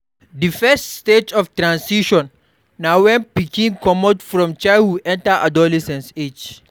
Di first stage of transition na when pikin comot from childhood enter adolescent age